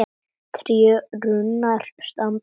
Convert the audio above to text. Tré og runnar standa nakin.